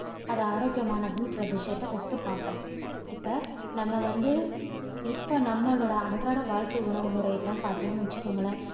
அது ஆரோக்கியமானதுன்ற விஷயத்த first பார்ப்போம். இப்போ நம்ம வந்து இப்போ நம்மளோட அன்றாட வாழ்க்கை உணவு முறையெல்லாம் பார்த்தீங்கன்னு வச்சுக்கோங்களேன்